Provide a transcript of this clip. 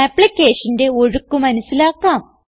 ആപ്പ്ളിക്കേഷന്റെ ഒഴുക്ക് മനസിലാക്കാം